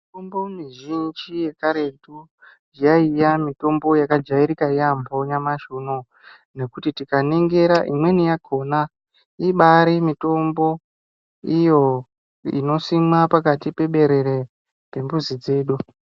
Mitombo mizhinji yekaretu, yaiya mitombo yakajairika yaamho nyamashi unouyu. Nokuti tikaningira imweni yakhona ibaari mitombo iyo, inosimwa pakati peberere pemuzi dzedu.